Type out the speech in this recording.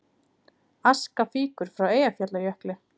Aska fýkur frá Eyjafjallajökli